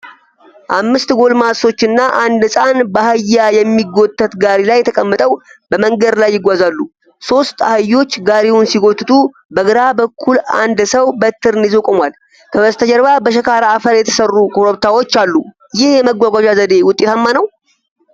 አምስት ጎልማሶችና አንድ ሕፃን በአህያ የሚጎተት ጋሪ ላይ ተቀምጠው በመንገድ ላይ ይጓዛሉ። ሦስት አህዮች ጋሪውን ሲጎትቱ በግራ በኩል አንድ ሰው በትረን ይዞ ቆሟል። ከበስተጀርባ በሸካራ አፈር የተሠሩ ኮረብታዎች አሉ። ይህ የመጓጓዣ ዘዴ ውጤታማ ነው?